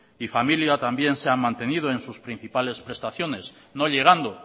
y familia también se han mantenido en sus principales prestaciones no llegando